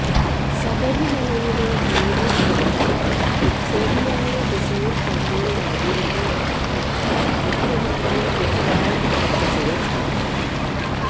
ശബരിമലയിലെ പൊലീസ് ഇടപെടൽ ശരിയായ ദിശയിൽ തന്നെയായിരുന്നുവെന്നാണ് മുഖ്യമന്ത്രി പിണറായി വിജയൻ പറഞ്ഞത്